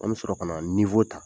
An bɛ sɔrɔ ka na ninfo ta.